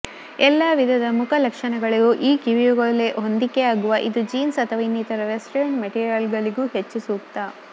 ಎಲ್ಲ ವಿಧದ ಮುಖ ಲಕ್ಷಣಗಳಿಗೂ ಈ ಕಿವಿಯೋಲೆ ಹೊಂದಿಕೆಯಾಗುವ ಇದು ಜೀನ್ಸ್ ಅಥವಾ ಇನ್ನಿತರ ವೆಸ್ಟರ್ನ್ಡ್ರೆಸ್ ಮೆಟೀರಿಯಲ್ಗಳಿಗೆ ಹೆಚ್ಚು ಸೂಕ್ತ